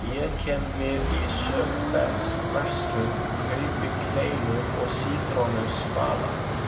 Ég kem við í Söebechsverslun, kaupi kleinu og sítrónusvala.